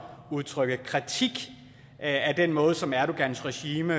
udtrykke kritik af den måde som erdogans regime